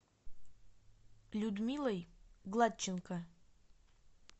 людмилой гладченко